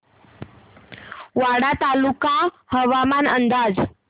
वाडा तालुका हवामान अंदाज